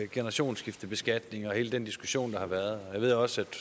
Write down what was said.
generationsskiftebeskatning og hele den diskussion der har været og jeg ved også at